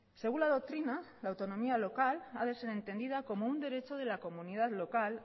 según la doctrina la autonomía local ha de ser entendida como un derecho de la comunidad local